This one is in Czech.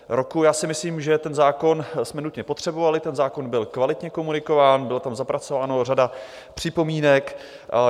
Já si myslím, že ten zákon jsme nutně potřebovali, ten zákon byl kvalitně komunikován, byla tam zapracována řada připomínek.